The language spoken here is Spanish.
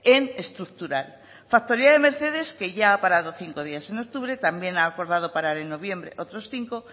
en estructural factoría de mercedes que ya parado cinco días en octubre también ha acordado parar en noviembre otros cinco